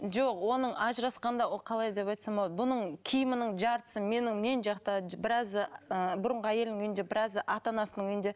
жоқ оның ажырасқанда ол қалай деп айтсам болады бұның киімінің жартысы менің мен жақта біразы ыыы бұрынғы әйелінің үйінде біразы ата анасының үйінде